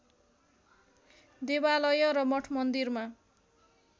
देवालय र मठमन्दिरमा